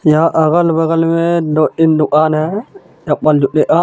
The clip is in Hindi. यहाँ अगल बगल मे दो तीन दूकान हे